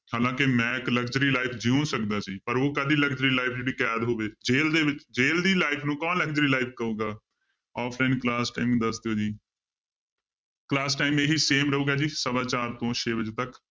ਹਾਲਾਂਕਿ ਮੈਂ ਇੱਕ luxury life ਜਿਉ ਸਕਦਾ ਸੀ ਪਰ ਉਹ ਕਾਹਦੀ luxury life ਜਿਹੜੀ ਕੈਦ ਹੋਵੇ, ਜੇਲ ਦੇ ਵਿੱਚ ਜੇਲ ਦੀ life ਨੂੰ ਕੌਣ luxury life ਕਹੇਗਾ offline class time ਦੱਸ ਦਿਓ ਜੀ class time ਇਹੀ same ਰਹੇਗਾ ਜੀ ਸਵਾ ਚਾਰ ਤੋਂ ਛੇ ਵਜੇ ਤੱਕ